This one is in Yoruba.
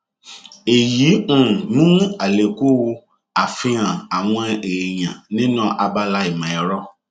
èyí um mú àlékún àfihàn àwọn èèyàn nínú abala ìmọ-ẹrọ